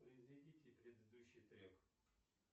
произведите предыдущий трек